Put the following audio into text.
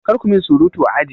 Kar ku min surutu a aji!